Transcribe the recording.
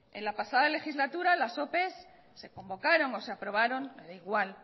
en la pasada legislatura las opes se convocaron o se aprobaron me da igual